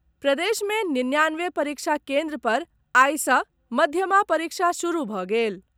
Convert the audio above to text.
प्रदेश मे निन्यानवे परीक्षा केन्द्र पर आइ सॅ मध्यमा परीक्षा शुरू भऽ गेल।